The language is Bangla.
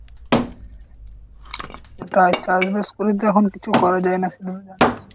সেটাই চাষ বাষ করে তো এখন কিছু করা যায় না সেটা তো জানিস।